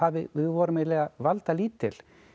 við vorum eiginlega valdalítil